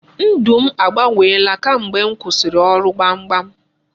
Ndụ m agbanweela kamgbe m kwụsịrị ọrụ gbamgbam.